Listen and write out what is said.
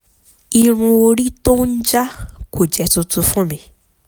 irun orí tó ń jaá kò jẹ́ tuntun fún mi